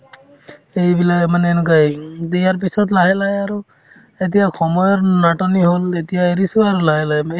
এইবিলাক মানে এনেকুৱায়ে উম বিয়াৰ পিছত লাহে লাহে আৰু এতিয়া সময়ৰ নাটনি হ'ল এতিয়া এৰিছো আৰু লাহে লাহে